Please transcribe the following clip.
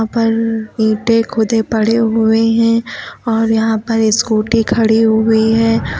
ऊपर ईंटे खुदे पड़े हुए है और यहां पर स्कूटी खड़ी हुई है।